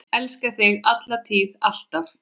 Elska þig, alla tíð, alltaf.